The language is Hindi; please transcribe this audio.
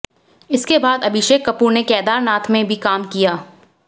इसके बाद अभिषेक कपूर ने केदारनाथ में भी काम किया